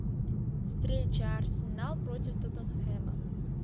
встреча арсенал против тоттенхэма